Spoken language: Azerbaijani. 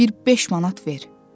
Bir beş manat ver.